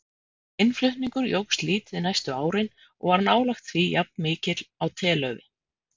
Innflutningur jókst lítið næstu árin og var nálægt því jafnmikill á telaufi.